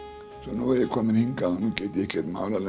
nú er ég kominn hingað nú get ég ekkert málað